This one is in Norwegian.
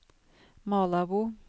Malabo